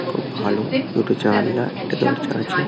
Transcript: খুব ভালো দুটো জানলা একটা দরজা আছে--